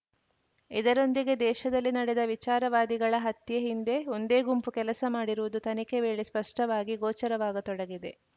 ಇದರೊಂದಿಗೆ ದೇಶದಲ್ಲಿ ನಡೆದ ವಿಚಾರವಾದಿಗಳ ಹತ್ಯೆ ಹಿಂದೆ ಒಂದೇ ಗುಂಪು ಕೆಲಸ ಮಾಡಿರುವುದು ತನಿಖೆ ವೇಳೆ ಸ್ಪಷ್ಟವಾಗಿ ಗೋಚರವಾಗತೊಡಗಿದೆ